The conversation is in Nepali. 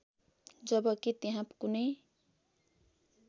जबकी त्यहाँ कुनै